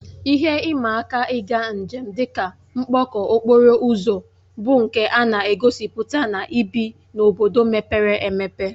Ihe ịma aka ịga njem, dị ka mkpọkọ okporo ụzọ bụ nke a na-egosipụta na ibi n'obodo mepere emepe